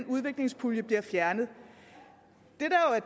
udviklingspuljen bliver fjernet